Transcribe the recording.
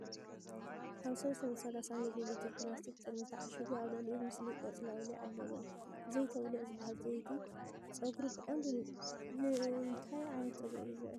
ኣብ 330 ሚሊ ሊትር ፕላስቲክ ጥርሙዝ ተዓሺጉ ኣብ ልዕሊኡ ምስሊ ቆጽሊ ኣውሊዕ ኣለዎ። "ዘይቲ ኣውሊዕ" ዝበሃል ዘይቲ ጸጉሪ ብቐንዱ ንእንታይ ዓይነት ጸጉሪ እዩ ዝውዕል?